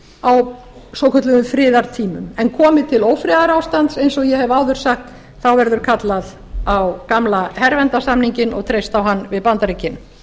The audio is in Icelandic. á svokölluðum friðartímum komi til ófriðarástands eins og ég hef áður sagt verður kallað á gamla herverndarsamninginn og treyst á hann við bandaríkin